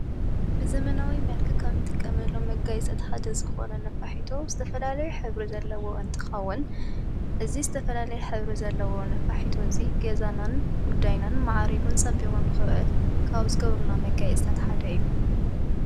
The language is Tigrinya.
ብዘመናዊ መልክ ኸም ጥቀ መሎም መጋይ ጸት ሓደ ዝኾነ ነፋሒቶ ዝተፈላለይ ኅብሪ ዘለዎ እንትኻውን እዝ ዝተፈላለይ ኅብሪ ዘለዎ ነፋሒቶ እዙይ ጌዛናን ጕዳይናን መዓሪጉን ጸቢቖን ኽእል ካውዝገብሩና መጋይ እዝታትሓደ እዩ።